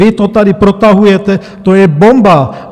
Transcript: Vy to tady protahujete, to je bomba.